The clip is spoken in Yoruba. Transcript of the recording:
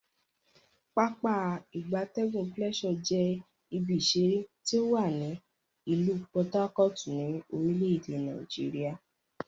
Pápá ìgbatẹ́gùn Pleasure je ibi isere ti owa ni ilu Por Harcourt, ni orile ede Nigeria.